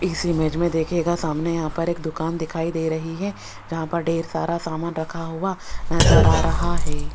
इस इमेज में देखिएगा सामने यहां पर एक दुकान दिखाई दे रही है जहां पर ढेर सारा सामान रखा हुआ नजर आ रहा है।